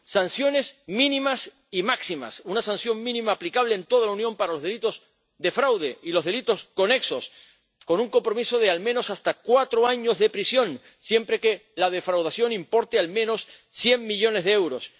Sanciones mínimas y máximas una sanción mínima, aplicable en toda la Unión, para los delitos de fraude y los delitos conexos, con un compromiso de, al menos, hasta cuatro años de prisión, siempre que la defraudación importe, al menos, cien millones de euros.